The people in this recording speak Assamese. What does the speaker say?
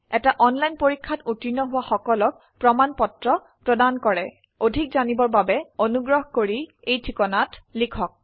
এটা অনলাইন পৰীক্ষাত উত্তীৰ্ণ হোৱা সকলক প্ৰমাণ পত্ৰ প্ৰদান কৰে অধিক জানিবৰ বাবে অনুগ্ৰহ কৰি contactspoken tutorialorg এই ঠিকনাত লিখক